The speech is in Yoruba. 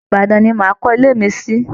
Ìbaàdàn ni màá kọ́ ilé mi sí